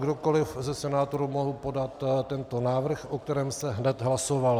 Kdokoliv ze senátorů mohl podat tento návrh, o kterém se hned hlasovalo.